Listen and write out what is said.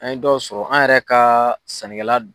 An ye dɔw sɔrɔ an yɛrɛ ka sannikɛla.